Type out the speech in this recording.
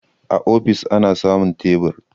A ofis ana samun tebur